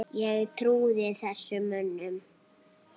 Ég trúði þessum mönnum.